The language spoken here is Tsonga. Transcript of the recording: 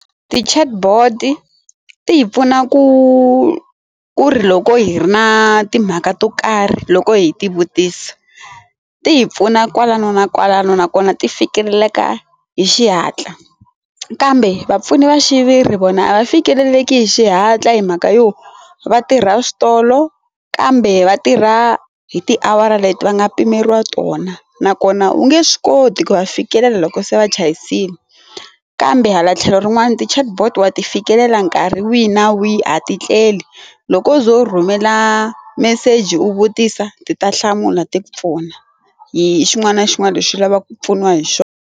Ti chatbot ti hi pfuna ku ku ri loko hi ri na timhaka to karhi loko hi ti vutisa ti hi pfuna kwalano na kwalano nakona ti fikeleleka hi xihatla kambe vapfuni va xiviri vona a va fikeleleki hi xihatla hi mhaka yo va tirha switolo kambe va tirha hi tiawara leti va nga pimeriwa tona nakona a wu nge swi koti ku va fikelela loko se va chayisile kambe hala tlhelo rin'wana ti chatbot wa ti fikelela nkarhi wihi na wihi a ti tleli loko u ze u rhumela meseji u vutisa ti ta hlamula ti pfuna hi xin'wana na xin'wana lexi u lavaka ku pfuniwa hi xona.